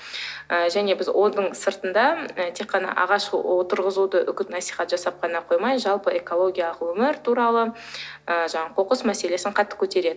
ы және біз оның сыртында і тек қана ағаш отырғызуды үгіт насихат жасап қана қоймай жалпы экологиялық өмір туралы ы жаңағы қоқыс мәселесін қатты көтереді